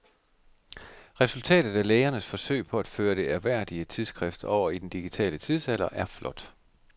Resultatet af lægernes forsøg på at føre det ærværdige tidsskrift over i den digitale tidsalder er flot.